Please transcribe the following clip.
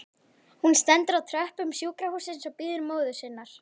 Hún stendur á tröppum sjúkrahússins og bíður móður sinnar.